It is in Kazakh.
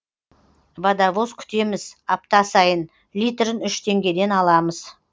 водовоз күтеміз апта сайын литрін үш теңгеден аламыз